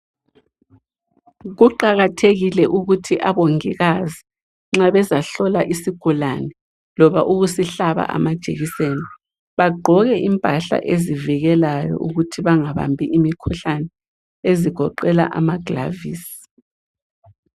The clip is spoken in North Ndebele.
Kuqakathekile ukuthi abongikazi nxa bezahlola isigulane loba ukusihlaba amajekiseni bagqoke impahla ezivikelayo ukuthi bangahambi umkhuhlane ezigoqela amagilovisi.